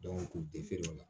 kun tɛ feere o la